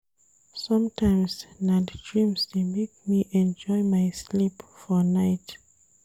Sometimes, na di dreams dey make me enjoy my sleep for night.